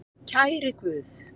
Kæri Guð.